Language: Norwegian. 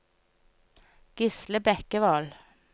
Gisle Bekkevold